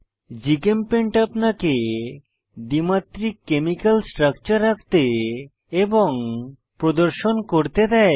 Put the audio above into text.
GChemPaint আপনাকে দ্বিমাত্রিক chemical structure আঁকতে এবং প্রদর্শন করতে দেয়